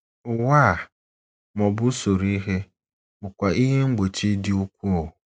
Ụwa a, ma ọ bụ usoro ihe, bụkwa ihe mgbochi dị ukwuu.